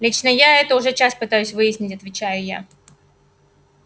лично я это уже час пытаюсь выяснить отвечаю я